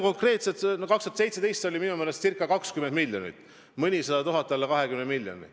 2017. aastal oli see summa minu meelest ca 20 miljonit, mõnisada tuhat alla 20 miljoni.